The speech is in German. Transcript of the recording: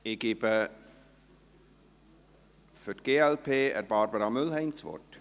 Ich gebe für die glp Barbara Mühlheim das Wort.